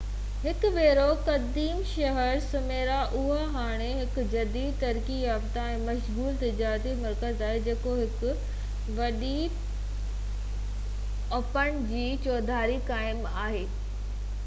هڪ ڀيرو قديم شهر سميرنا اهو هاڻي هڪ جديد ترقي يافتہ ۽ مشغول تجارتي مرڪز آهي جيڪو هڪ وڏي اُپسمنڊ جي چوڌاري قائم آهي ۽ جبلن سان گهيريل آهي